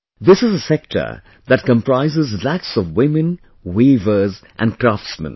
This is a sector that comprises lakhs of women, weavers and craftsmen